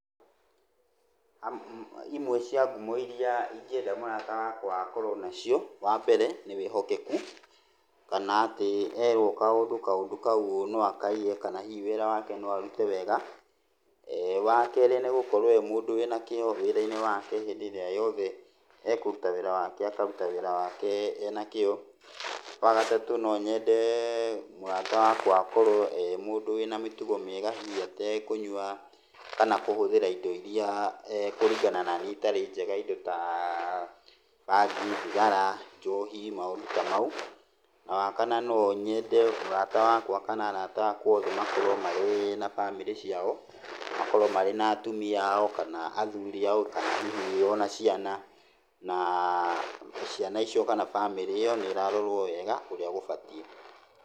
Imwe cia ngumo iria ingĩenda mũrata wakwa akorwo nacio, wa mbere nĩ wĩhokeku, kana atĩ erwo kaũndũ, kaũndũ kau no akaige kana hihi wĩra wake no arute wega. Wa kerĩ nĩ gũkorwo e mũndũ wĩna kĩĩo wĩra-inĩ wake hĩndĩ ĩrĩa yothe ekũruta wĩra wake akaruta wĩra wake ena kĩĩo. Wa gatatũ no nyende mũrata wakwa akorwo e mũndũ wĩna mĩtugo mĩega, hihi atekũnyua kana kũhũthĩra indo iria kũringana naniĩ itarĩ njega, indo ta bangi, thigara, njohi, maũndũ ta mau. Na wakana no nyende mũrata wakwa kana arata akwa othe makorwo marĩ na bamĩrĩ ciao, makorwo marĩ na atumia ao, kana athuri ao, kana hihi ona ciana, na ciana icio kana bamĩrĩ ĩyo nĩ ĩrarorwo wega ũrĩa gũbatiĩ.